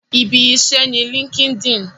Ibi iṣẹ́ ni líńki-inì